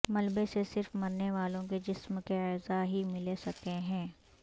ملبے سے صرف مرنے والوں کے جسم کے اعضاء ہی ملے سکے ہیں